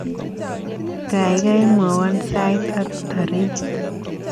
Gaigai mwowon sait ak tareit